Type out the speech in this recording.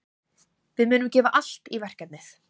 Við munum gefa allt í verkefnið.